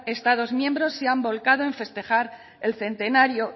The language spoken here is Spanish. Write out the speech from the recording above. estados miembros se han volcado en festejar en centenario